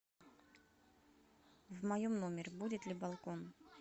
в моем номере будет ли балкон